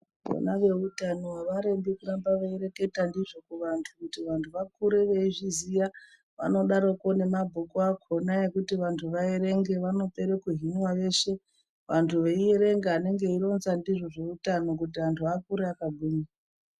Vona veutano havarembi kuramba vereketa ndizvo kuvantu kuti vantu vakure veizviziva vanodaroko ngemabhuku akhona ekuerenga vanopera kuhina vashe. Vantu veiverenga anenge eironza ndizvo zveutano kuti antu akure akagwinya.